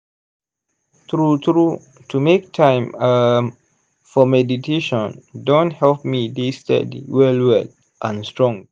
true true to make time um for meditation don help me dey steady well well and strong.